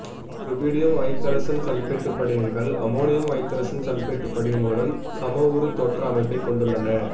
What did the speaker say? rubidium ஐதரசன் sulphate படிகங்கள் ammonium ஐதரசன் சல்பேட்டு படிகங்களுடன் சமவுரு தோற்ற அமைப்பைக் கொண்டுள்ளன